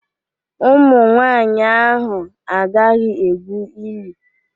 Ụmụnwanyị ahụ agaghị egwu ili.